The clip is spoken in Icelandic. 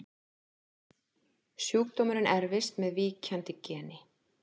Sjúkdómurinn erfist með víkjandi geni.